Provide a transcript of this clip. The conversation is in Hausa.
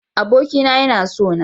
Abokina yana sona.